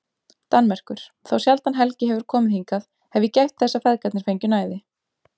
Danmerkur, þá sjaldan Helgi hefur komið hingað hef ég gætt þess að feðgarnir fengju næði.